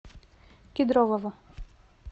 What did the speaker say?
кедрового